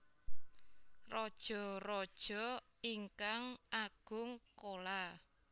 Rajaraja ingkang Agung Chola